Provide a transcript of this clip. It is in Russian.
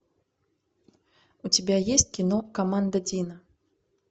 у тебя есть кино команда дина